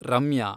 Ramya